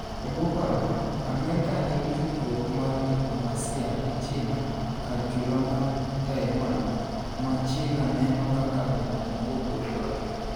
Ebwo paro no, Amerka nigi tudruok mar diplomasia gi China kar chula mar Taiwan, ma China neno kaka boma mopogore kodgi.